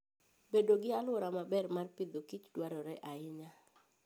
Bedo gi alwora maber mar Agriculture and Fooddwarore ahinya.